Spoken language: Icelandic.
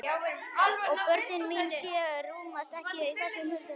Og börnin mín sjö rúmast ekki í þessu hjarta.